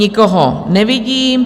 Nikoho nevidím.